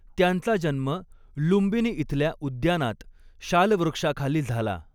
त्यांचा जन्म लुम्बिनी इथल्या उद्यानात शालवृक्षाखाली झाला.